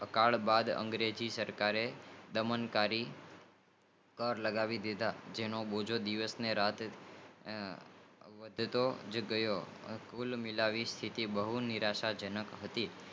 ત્યાર બાદ અંગ્રેજી સરકારે દબાણકારી લાગણી દીધા તેનો બીજો દિવસ અને રાતે વડતોજ ગયો આ સ્તિથિઓ બહુ નિરાશ જનક હતી